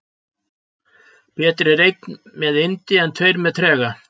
Betri er einn með yndi en tveir með trega.